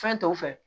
Fɛn tɔw fɛ